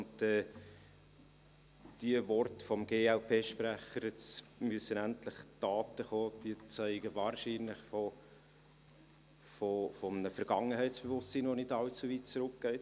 Die Worte des Glp-Sprechers, jetzt müssten endlich Taten folgen, zeugen wahrscheinlich von einem Vergangenheitsbewusstsein, das nicht allzu weit zurückreicht.